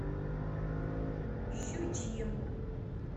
щучьему